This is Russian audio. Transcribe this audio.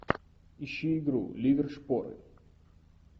ищи игру ливер шпоры